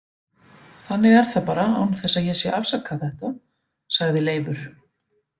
Þannig er það bara án þess að ég sé að afsaka þetta, sagði Leifur.